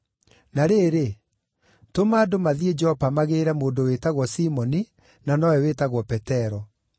Na rĩrĩ, tũma andũ mathiĩ Jopa magĩĩre mũndũ wĩtagwo Simoni, na nowe wĩtagwo Petero.